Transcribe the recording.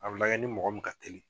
A bi lajɛ ni mɔgɔ min ka telin